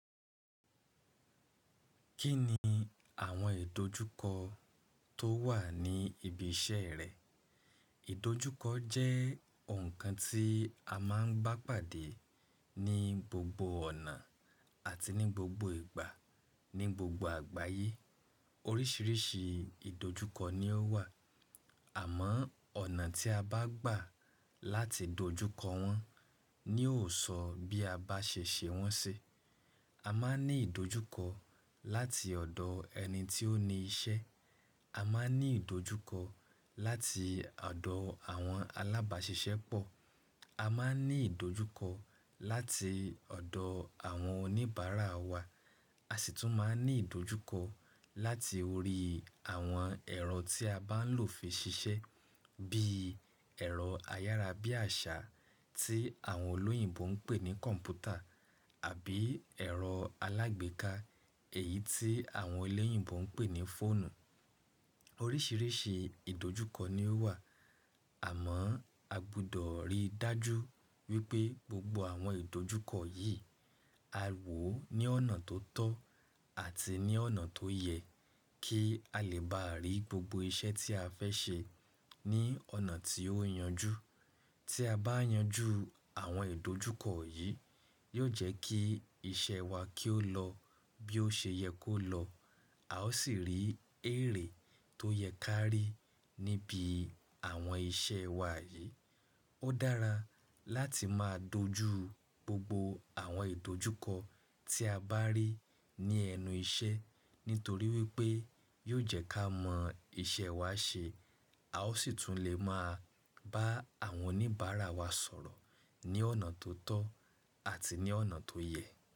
Kí ni àwọn ìdojúkọ tó wà ní ibi iṣẹ́ rẹ? Ìdojúkọ jẹ́ nǹkan tí a máa ń gbá pàdé ní gbogbo ọ̀nà àti ní gbogbo ìgbà ní gbogbo àgbáyé. Oríṣiríṣi ìdojúkọ ni ó wà, àmọ́ ọ̀nà tí a bá gbà láti dojúkọ wọ́n ni yóò sọ bí a bá ṣe ṣe wọ́n sì. A máa ń ní ìdojúkọ láti ọ̀dọ̀ ẹni tí ó ni iṣẹ́, a máa ń ní ìdojúkọ láti ọ̀dọ̀ àwọn alábàáṣiṣẹ́ pọ̀, a máa ń ní ìdojúkọ láti ọ̀dọ̀ àwọn oníbàárà wa, a sì tún máa ń ní ìdojúkọ láti orí àwọn ẹ̀rọ tí a bá ń lò fi ṣiṣẹ́, bíi ẹ̀rọ ayára bí àṣá tí àwọn olóyìnbo ń pè ní kọ̀m̀pútà àbí ẹ̀rọ alágbèéká, èyí tí àwọn eléyìnbo ń pè ní fóònù. Oríṣiríṣi ìdojúkọ ni ó wà, àmọ́ a gbọdọ̀ rí dájú wípé gbogbo àwọn ìdojúkọ yìí a wò ó ní ọ̀nà tó tọ́ àti ní ọ̀nà tó yẹ kí a lè bá rí gbogbo iṣẹ́ tí a fẹ́ ṣe ní ọ̀nà tí ó yanjú. Tí a bá yanjú àwọn ìdojúkọ yìí, yóò jẹ́ kí iṣẹ́ wa kí ó lọ bí ó ṣe yẹ kó lọ. A ó sì rí èrè tó yẹ ká rí níbi àwọn iṣẹ́ wa yìí. Ó dára láti máa dojú gbogbo àwọn ìdojúkọ tí a bá rí ní ẹnu iṣẹ́ nítorí wípé yóò jẹ́ ká mọ iṣẹ́ wa ṣe. A ó sì tún lè máa bá àwọn oníbàárà wa sọ̀rọ̀ ní ọ̀nà tó tọ́ àti ní ọ̀nà tó yẹ.